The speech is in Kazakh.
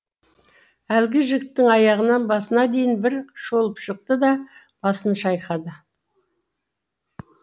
әлгі жігіттің аяғынан басына дейін бір шолып шықты да басын шайқады